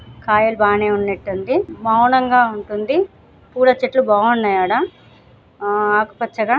కాయలు బాగానే ఉన్నాటుంది ఉంటుంది చెట్లు బాగున్నాయి అడ ఆకుపచ్చగా--